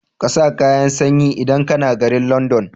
ƙasa kayan sanyi idan kAna garin London